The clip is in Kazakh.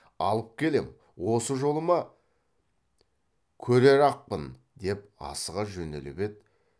алып келем осы жолы ма көрерақпын деп асыға жөнеліп еді